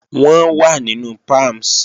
Wọ́n wà nínú Palms